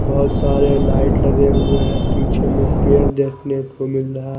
बहुत सारे लाइट लगे हुए हैं पीछे में पेड़ देखने को मिल रहा--